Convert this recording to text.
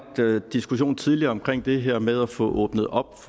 diskussion tidligere omkring det her med at få åbnet op